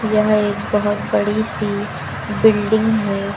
यह एक बहुत बड़ी सी बिल्डिंग है।